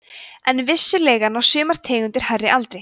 en vissulega ná sumar tegundir hærri aldri